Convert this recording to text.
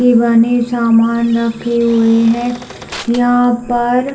के बने सामान रखे हुए है यहाँ पर--